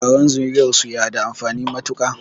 Taron zuriyarsu ya da amfani matuƙa